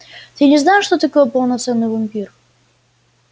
ты не знаешь что такое полноценный вампир